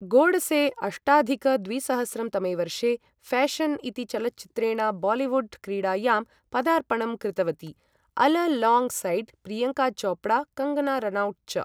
गोडसे अष्टाधिक द्विसहस्रं तमे वर्षे फैशन इति चलच्चित्रेण बालिवुड् क्रीडायां पदार्पणं कृतवती, alongside Priyanka Chopra, Kangana Ranaut च ।